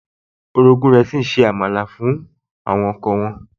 Orogún rẹ̀ se àmàlà fún ọkọ wọn